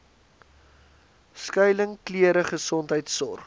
skuiling klere gesondheidsorg